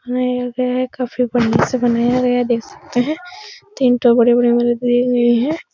बनाया गया है। काफी बढ़िया से बनाया गया है देख सकते हैं। तीन ठो बड़े-बड़े है।